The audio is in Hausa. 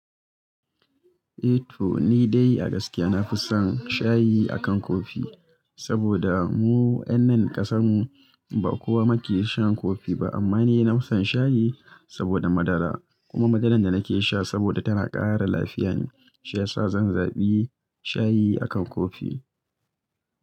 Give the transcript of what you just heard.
Eh to ni dai a gaskiya nafi son shayi akan coffee saboda mu yan nan ƙasan mu ba kowa yake shan coffee ba amma ni nafi son shayi saboda madara kuma madaran da nake sha saboda tana ƙara lafiya ne, shi yasa zan zaɓi shayi akan coffee.